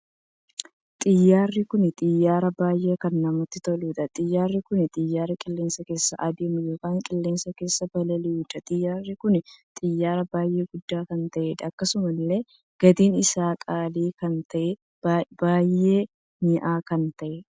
Xiyyaarri kun xiyyaara baay'ee kan namatti toluudha. Xiyyaarri kun xiyyaara qilleensa keessa adeemuu ykn qilleensa keessa balali'uudha. Xiyyaarri kun xiyyaara baay'ee guddaa kan ta'eedha. Akkasumallee gatiin isaa qaalii kan tahee baay'ee minya'a kan taheedha.